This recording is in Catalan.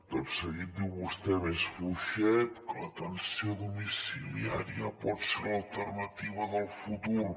tot seguit diu vostè més fluixet que l’atenció domiciliària pot ser l’alternativa del futur